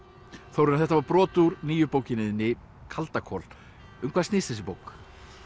Þórarinn þetta var brot úr nýju bókinni þinni kaldakol um hvað snýst þessi bók